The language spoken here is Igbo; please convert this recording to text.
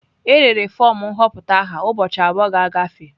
E rere fọm nhọpụta aha ụbọchị abụọ ga-agafe.